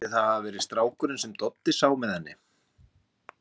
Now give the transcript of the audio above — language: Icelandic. Skyldi það hafa verið strákurinn sem Doddi sá með henni?